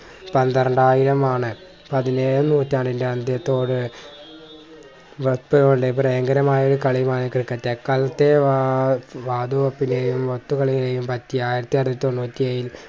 പന്ത്രണ്ടായിരം ആണ് പതിനേഴാം നൂറ്റാണ്ടിന്റെ അന്ത്യത്തോടെ ഭയങ്കരമായ ഒരു കളിയുമാണ് ക്രിക്കറ്റ്. അക്കാലത്തെ ഏർ വാതുവെപ്പുലേയും മറ്റ് കളികളെയും പറ്റി ആയിരത്തി അറുന്നൂറ്റി തൊണ്ണൂറ്റി എഴിൽ